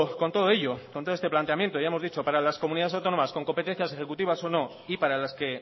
con todo ello con todo este planteamiento ya hemos dicho para las comunidades autónomas con competencias ejecutivas o no y para las que